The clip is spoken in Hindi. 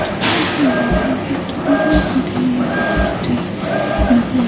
यहां पर बहुत बड़े बड़े इमारतें नजर--